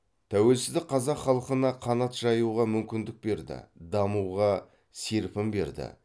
тәуелсіздік қазақ халқына қанат жайуға мүмкіндік берді дамуға серпін берді